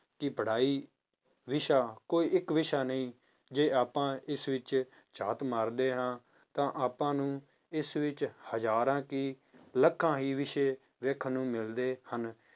ਕਿ ਪੜ੍ਹਾਈ ਵਿਸ਼ਾ ਕੋਈ ਇੱਕ ਵਿਸ਼ਾ ਨਹੀਂ ਜੇ ਆਪਾਂ ਇਸ ਵਿੱਚ ਝਾਤ ਮਾਰਦੇ ਹਾਂ ਤਾਂ ਆਪਾਂ ਨੂੰ ਇਸ ਵਿੱਚ ਹਜ਼ਾਰਾਂ ਕੀ ਲੱਖਾਂ ਹੀ ਵਿਸ਼ੇ ਵੇਖਣ ਨੂੰ ਮਿਲਦੇ ਹਨ